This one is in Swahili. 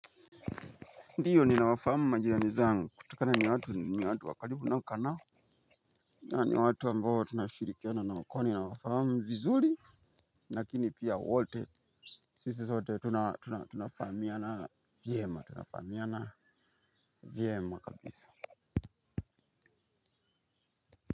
Ndiyo ni na wafahamu majirani zangu kutoka na ni watu ni watu wakaribu ninaokaanao. Na ni watu ambao tunashirikia na nao kwani na wafahamu vizuri. Lakini pia wote sisi sote tunafahamia na vyema.